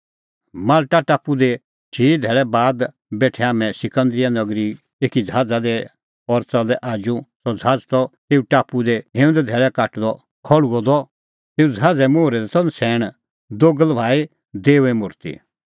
माल्टा टापू दी चिई भिन्नैं बाद बेठै हाम्हैं सिकंदरीया नगरीए एकी ज़हाज़ा दी और च़लै आजू सह ज़हाज़ त तेऊ टापू दी हिंऊंद धैल़ै काटदअ खल़्हुअ द तेऊ ज़हाज़े मोहरै दी त नछ़ैण दोगल़ भाई देओए मुर्ति